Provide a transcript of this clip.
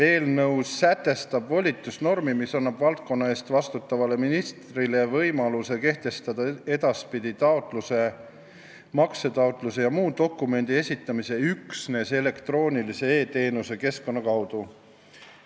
Eelnõu sätestab volitusnormi, mis annab valdkonna eest vastutavale ministrile võimaluse kehtestada edaspidi taotluse, maksetaotluse ja muu dokumendi esitamise üksnes elektroonilise e-teenuse keskkonna kaudu.